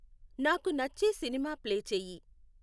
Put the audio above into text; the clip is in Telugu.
నాకు నచ్చే సినిమా ప్లే చేయి